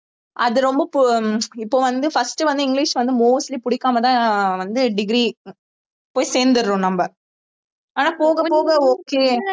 அது ரொம்ப அஹ் இப்ப வந்து first வந்து இங்கிலிஷ் வந்து mostly பிடிக்காமதான் அஹ் வந்து degree போய் சேர்ந்திடுறோம் நம்ம ஆனா போகப் போக okay